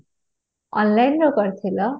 Online ରୁ କରିଥିଲା?